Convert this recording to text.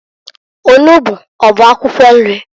Onugbu ọ bụ akwụkwọ nri?